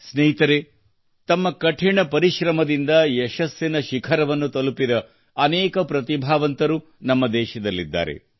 ಸ್ನೇಹಿತರೇ ತಮ್ಮ ಕಠಿಣ ಪರಿಶ್ರಮದಿಂದ ಯಶಸ್ಸಿನ ಶಿಖರವನ್ನು ತಲುಪಿದ ಅನೇಕ ಪ್ರತಿಭಾವಂತರು ನಮ್ಮ ದೇಶದಲ್ಲಿದ್ದಾರೆ